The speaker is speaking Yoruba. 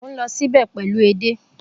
Mo n lọ nibẹ pẹlu édè.